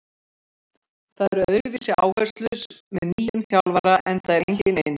Það eru öðruvísi áherslur með nýjum þjálfara enda er enginn eins.